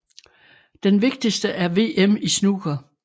Den vigtigste er VM i snooker